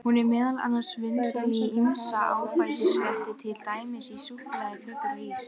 Hún er meðal annars vinsæl í ýmsa ábætisrétti, til dæmis í súkkulaði, kökur og ís.